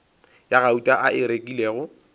ya gauta a e rekilego